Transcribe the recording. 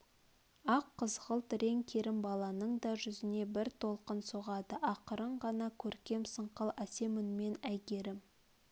ақ қызғылт рең керімбаланың да жүзіне бір толқын соғады ақырын ғана көркем сыңқыл әсем үнмен әйгерім